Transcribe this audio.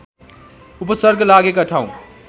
उपसर्ग लागेका ठाउँ